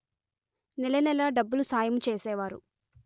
నెలనెలా డబ్బులు సాయము చేసేవారు